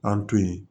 An to yen